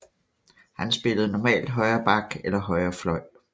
Han spillede normalt højre back eller højre fløj